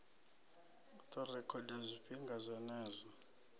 u ḓo rekhoda zwifhinga zwenezwo